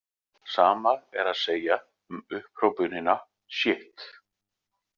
Sama er að segja um upphrópunina sjitt.